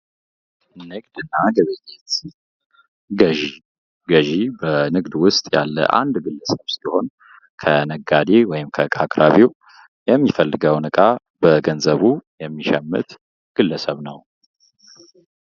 ንግድና ግብይት ገዥ ገዢ በንግድ ውስጥ ያለ አንድ ግልሰብ ሲሆን ከነጋዴ ወይም ከእቃ አቅራቢው የሚፈልገው ዕቃ በገንዘቡት የሚሸምት ግለሰብ ነው።